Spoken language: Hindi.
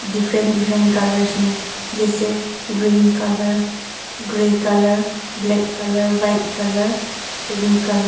डिफरेंट डिफरेंट कलर्स में जैसे green colour grey colour black colour white colour pink colour --